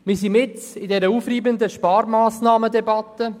Wir sind mitten in der aufreibenden Sparmassnahmendebatte.